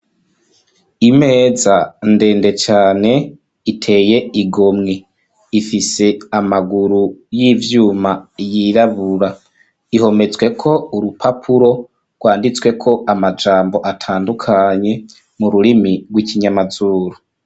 Imeza ndende cane, iteye igomwe, ifise amaguru y'ivyuma yirabura, ihometswe ko urupapuro rwanditsweko amajambo atandukanye mu rurimi rw'ikinyamazuru.